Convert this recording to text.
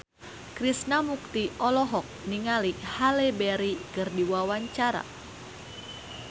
Krishna Mukti olohok ningali Halle Berry keur diwawancara